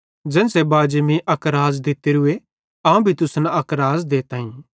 ज़ेन्च़रे बाजी मीं अक राज़ दित्तोरूए अवं भी तुसन अक राज़ देताईं